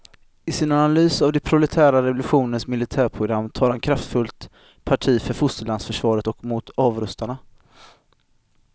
I sin analys av den proletära revolutionens militärprogram tar han kraftfullt parti för fosterlandsförsvaret och mot avrustarna.